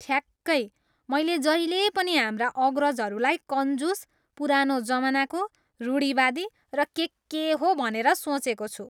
ठ्याक्कै! मैले जहिले पनि हाम्रा अग्रजहरूलाई कन्जुस, पुरानो जमानाको, रूढिवादी र के के हो भनेर सोचेको छु।